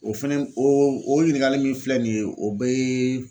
O fɛnɛ o ɲininkali min filɛ nin ye o bɛɛ.